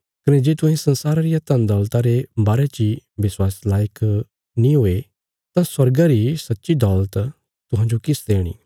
कने जे तुहें संसारा रिया धन दौलता रे बारे ची विश्वास लायक नीं हुये तां स्वर्गा री सच्ची दौलत तुहांजो किस देणी